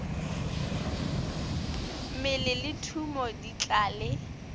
mmele le thumo di tlale